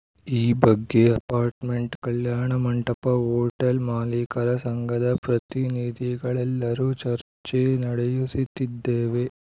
ಈ ಬಗ್ಗೆ ಅಪಾರ್ಟ್‌ಮೆಂಟ್‌ ಕಲ್ಯಾಣಮಂಟಪ ಹೋಟೆಲ್‌ ಮಾಲಿಕರ ಸಂಘದ ಪ್ರತಿನಿಧಿಗಳೆಲ್ಲರೂ ಚರ್ಚೆ ನಡೆಯು ಸುತ್ತಿದ್ದೇವೆ